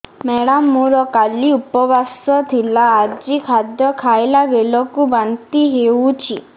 madam ମୋର କାଲି ଉପବାସ ଥିଲା ଆଜି ଖାଦ୍ୟ ଖାଇଲା ବେଳକୁ ବାନ୍ତି ହେଊଛି